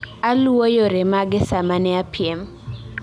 Aluwo yore mage sama ane piem